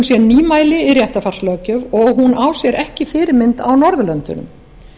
sé nýmæli í réttarfarslöggjöf og hún á sér ekki fyrirmynd á norðurlöndunum